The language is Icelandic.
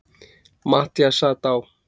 Matthías sat á